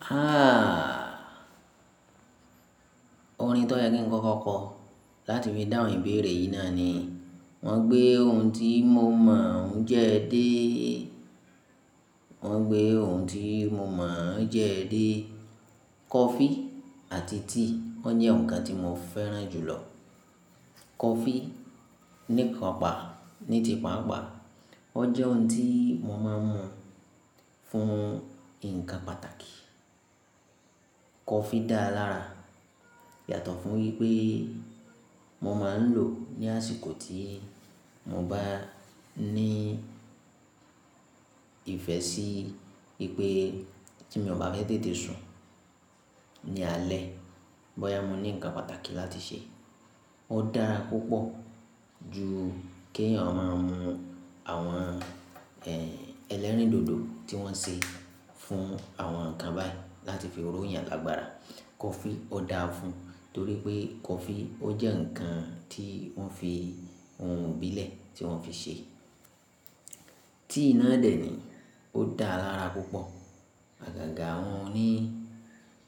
Aah! Orin tó yẹ kí n kọ́kọ́ kọ láti fi dáhùn ìbéèrè yìí náà ni. Wọ́n gbé ohun tí mo mọ̀ ọ́n jẹ́ dé, wọ́n gbé ohun tí mo mọ̀ ọ́n jẹ́ dé. Kọfí àti tíì, wọ́n jẹ́ ǹkan tí mo fẹ́ràn jù lọ. Kọfí nípa, ní ti pa àgbà. O jẹ́ ohun tí mo máa ń mu fún ǹkan pàtàkì. Kọfí dáa lára yàtọ̀ fún wípé mo máa ń lò ní àsìkò tí mo bá ní ìfẹ́ sí pé tí mo bá fẹ́ tètè sùn ní alẹ́, bóyá mo ní ǹkan pàtàkì láti ṣe. O dára púpọ̀ ju kí èèyàn máa ń mu àwọn, ẹ, ẹlẹ́rìndòdò tí wọ́n ṣe fún àwọn ǹkan báyìí láti fi ro yàn lágbára. Kọfí o dáa fún un torí pé kọfí o jẹ́ ǹkan tí wọ́n fi ohun ìbílẹ̀ tí wọ́n fi ṣe. Tíì náà dẹ̀ ni, o dáa lára púpọ̀. Àgàgà wọn ní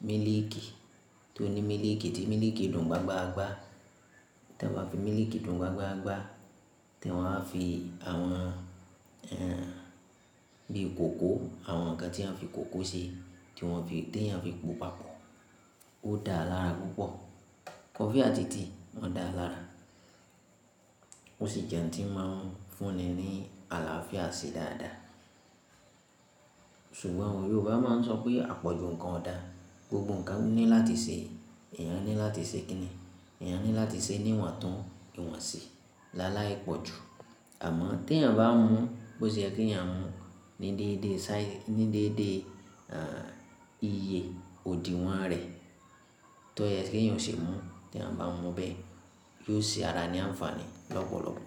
mílìkì tó ní mílìkì tí mílìkì dùn gbágbá. Tí wọ́n bá fi mílìkì dùn gbágbá, tí wọ́n á fi àwọn, ẹ, bíi kòkó, àwọn ǹkan tí a fi kòkó ṣe tí wọ́n fi dé tí a fi po pọ̀pọ̀. O dáa lára púpọ̀. Kọfí àti tíì wọ́n dáa lára. O sì jẹ́ ohun tí wọ́n máa ń fún ni ní àlàáfíà ṣe dáadáa. Ṣùgbọ́n àwọn Yorùbá máa ń sọ pé àpọ̀jù ǹkan o dáa. Gbogbo ǹkan ní láti ṣe. Ẹ̀yàn ní láti ṣe kíni, ẹ̀yàn ní láti ṣe níwọ̀n tún, ìwọ̀n sí. Láláì pọ̀jù. Àmọ́ tí èèyàn bá mu bó ṣe yẹ kí ẹ̀yàn mu ní déédé sáà, ní déédé, ẹ, iye òdìwọ́n rẹ̀. Tó yẹ kí ẹ̀yàn ṣe mú, tí èèyàn bá mu bẹ́ẹ̀ yóò ṣe ara ní àǹfààní lọ́pọ̀lọpọ̀.